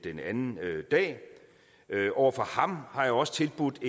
anden dag og over for ham har jeg også tilbudt